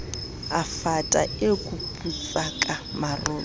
e fata e kuputsaka marole